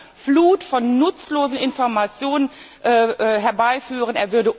Er würde eine Flut von nutzlosen Informationen herbeiführen.